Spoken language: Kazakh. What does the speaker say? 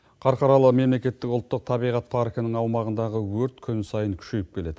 қарқаралы мемлекеттік ұлттық табиғат паркінің аумағындағы өрт күн сайын күшейіп келеді